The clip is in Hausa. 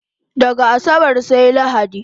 Daga asabar sai lahadi